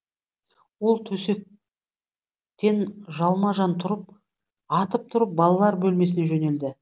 ол төсектен жалма жан атып тұрып балалар бөлмесіне жөнелді